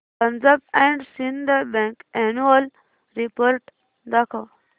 Punjab and Sind bank annual report दाखव